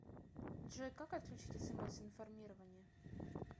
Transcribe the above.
джой как отключить смс информирование